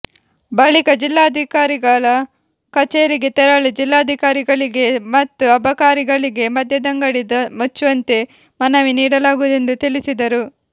ಬಳಿಕ ಜಿಲ್ಲಾಧಿಕಾರಿಗಳ ಕಛೇರಿಗೆ ತೆರಳಿ ಜಿಲ್ಲಾಧಿಕಾರಿಗಳಿಗೆ ಮತ್ತು ಅಬಕಾರಿಗಳಿಗೆ ಮದ್ಯದಂಗಡಿ ಮುಚ್ಚುವಂತೆ ಮನವಿ ನೀಡಲಾಗುವುದೆಂದು ತಿಳಿಸಿದರು